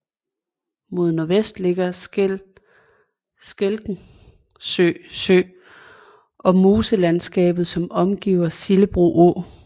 Mod nordvest ligger Skenkelsø Sø og moselandskabet som omgiver Sillebro Å